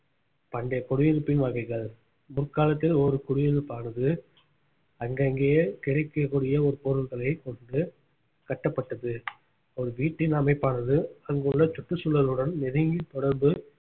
பண்டைய குடியிருப்பின் வகைகள் முற்காலத்தில் ஒரு குடியிருப்பானது அங்கங்கயே கிடைக்கக்கூடிய ஒரு பொருட்களை கொண்டு கட்டப்பட்டது ஒரு வீட்டின் அமைப்பானது அங்குள்ள சுற்றுச்சூழலுடன் நெருங்கி தொடர்பு